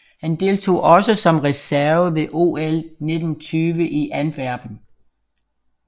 Han deltog også som reserve ved OL 1920 i Antwerpen